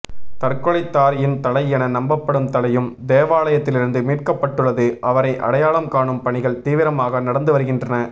தற்கொலைதாரியின் தலை என நம்பப்படும் தலையும் தேவாலயத்திலிருந்து மீட்கப்பட்டுள்ளது அவரை அடையாளம் காணும் பணிகள் தீவிரமாக நடந்து வருகின்றன